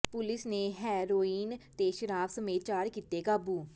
police ਨੇ heroin ਤੇ ਸ਼ਰਾਬ ਸਮੇਤ ਚਾਰ ਕੀਤੇ ਕਾਬੂ